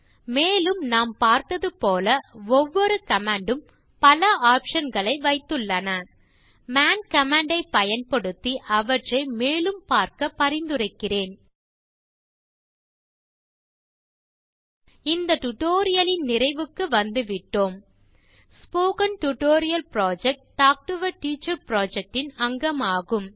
மேலும் நாம் பார்த்தது போல ஒவ்வொரு கமாண்ட் ம் பல ஆப்ஷன் களை வைத்துள்ளன மான் கமாண்ட் ஐப் பயன்படுத்தி அவற்றை மேலும் பார்க்க பரிந்துரைக்கிறேன் இந்த டியூட்டோரியல் லின் நிறைவுக்கு வந்துவிட்டோம் spoken tutorial project talk to a teacher project இன் அங்கமாகும்